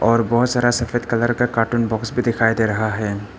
और बहुत सारा सफेद कलर का कार्टून बॉक्स भी दिखाई दे रहा है।